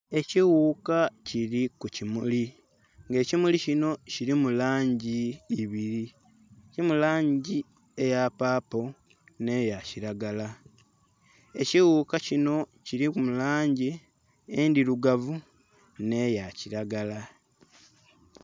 Ekiwuka kili ku kimuli nga ekimuli kinho kilimu langi ibili, kilimu langi eya paapo nhe ya kilagala, ekighuka kinho kilimu langi endhilugavu nhe ya kilagala.